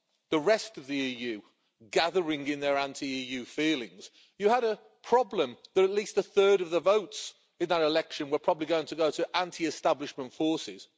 the rest of the EU gathering in their anti EU feelings, you had a problem that at least a third of the votes in that election were probably going to go to anti establishment forces.